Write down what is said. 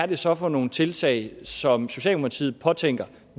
det så er for nogle tiltag som socialdemokratiet påtænker